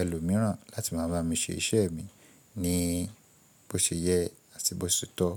ẹlòmíràn láti máa bá mi ṣe iṣẹ́ mi ní bó ṣe yẹ àti bó ṣetọ.